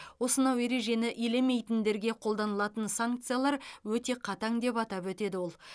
осынау ережені елемейтіндерге қолданылатын санкциялар өте қатаң деп атап өтеді ол